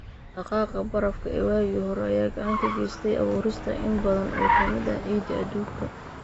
Dhaqdhaqaaqa barafka ee waagii hore ayaa gacan ka geystay abuurista in badan oo ka mid ah ciidda adduunka.